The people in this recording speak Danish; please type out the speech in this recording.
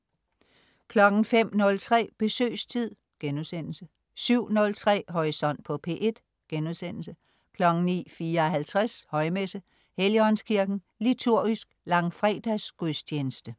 05.03 Besøgstid* 07.03 Horisont på P1* 09.54 Højmesse . Helligåndskirken. Liturgisk Langfredsgagudstjeneste.